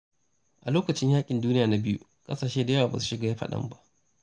A lokacin yaƙin Duniya Na Biyu, ƙasashe da dama ba su shiga fadan ba.